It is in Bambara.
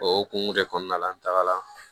O hokumu de kɔnɔna la n tagara